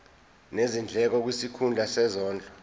nezindleko kwisikhulu sezondlo